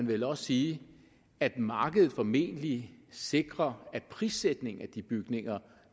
vel også sige at markedet formentlig sikrer at prissætningen af de bygninger